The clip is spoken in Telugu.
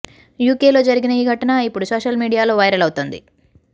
యూకేలో జరిగిన ఈ ఘటన ఇప్పుడు సోషల్ మీడియాలో వైరల్ అవుతోంది